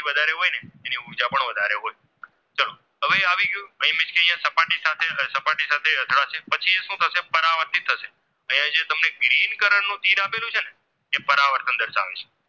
Green color નું જે તિર આપેલું છે ને એ પરાવર્તન દર્શાવે છે